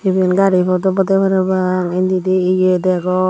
eben gari pot obo de parapang inde de ye degong.